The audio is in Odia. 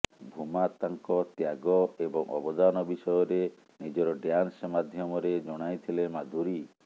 ଭୂମାତାଙ୍କ ତ୍ୟାଗ ଏବଂ ଅବଦାନ ବିଷୟରେ ନିଜର ଡ୍ୟାନ୍ସ ମାଧ୍ୟମରେ ଜଣାଇଥିଲେ ମାଧୁରୀ